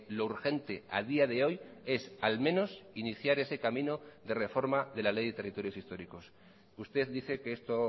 lo urgente a día de hoy es al menos iniciar ese camino de reforma de la ley de territorios históricos usted dice que esto